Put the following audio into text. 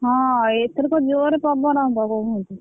ହଁ ଏଥରକ ଜୋରେ ପବନ ।